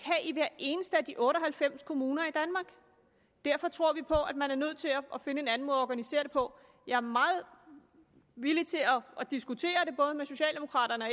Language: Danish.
i hver eneste af de otte og halvfems kommuner i danmark derfor tror vi på at man er nødt til at finde en anden måde at organisere det på jeg er meget villig til at diskutere både med socialdemokraterne